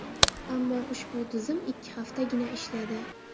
Ammo ushbu tizim ikki haftagina ishladi.